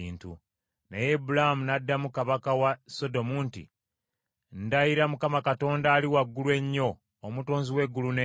Naye Ibulaamu n’addamu kabaka wa Sodomu nti, “Ndayira Mukama Katonda Ali Waggulu Ennyo, Omutonzi w’eggulu n’ensi,